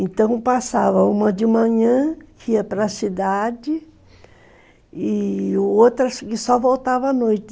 Então passava uma de manhã, que ia para a cidade, e outras que só voltava à noite.